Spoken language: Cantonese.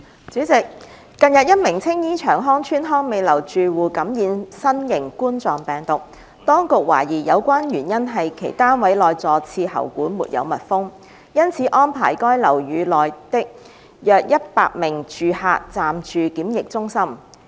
主席，近日一名青衣長康邨康美樓住客感染新型冠狀病毒，當局懷疑有關原因是其單位內坐廁喉管沒有密封，因此安排該樓宇內約一百名住客暫住檢疫中心。